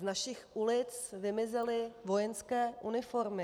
Z našich ulic vymizely vojenské uniformy.